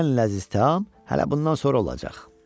Ən ləzzətli təam hələ bundan sonra olacaq.